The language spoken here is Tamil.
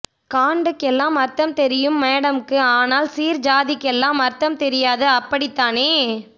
காண்டுக்கெல்லாம் அர்த்தம் தெரியும் மேடமுக்கு ஆனால் சீர் ஜாதிக்கெல்லாம் அர்த்தம் தெரியாது அப்படித்தானே